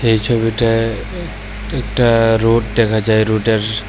এই ছবিটায় এ-একটা রোড দেখা যায় রোডের--